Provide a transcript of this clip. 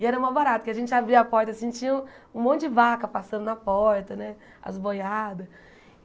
E era mó barato, porque a gente abria a porta assim tinha um monte de vaca passando na porta né, as boiadas.